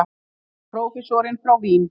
Þarna er prófessorinn frá Vín.